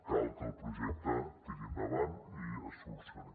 cal que el projecte tiri endavant i es solucioni